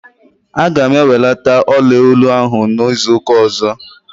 Aga m ewelata ọla olu ahụ n'izuụka ọzọ.